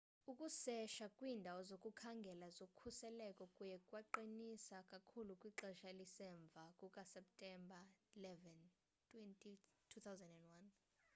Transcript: ukuseshwa kwiindawo zokukhangela zokhuseleko kuye kwaqiniswa kakhulu kwixesha elisemva kukaseptemba 11 2001